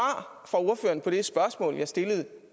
fra ordføreren på det spørgsmål jeg stillede